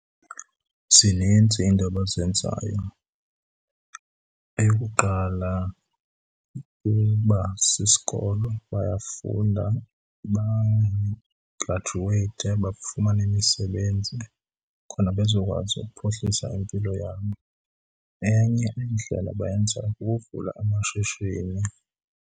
Zinintsi iinto abazenzayo. Eyokuqala, uba sisikolo. Bayafunda bagradyuweyithe, bafumane imisebenzi khona bezokwazi ukuphuhlisa impilo yabo. Enye indlela abayenzayo kukuvula amashishini.